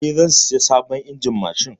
Eh, zan saya sabon injin mashin.